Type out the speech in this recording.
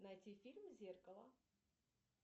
найти фильм зеркало